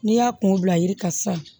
N'i y'a kungo bila yiri kan sisan